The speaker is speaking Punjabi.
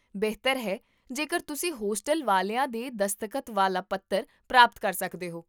ਬਿਹਤਰ ਹੈ ਜੇਕਰ ਤੁਸੀਂ ਹੋਸਟਲ ਵਾਲਿਆਂ ਦੇ ਦਸਤਖਤ ਵਾਲਾ ਪੱਤਰ ਪ੍ਰਾਪਤ ਕਰ ਸਕਦੇ ਹੋ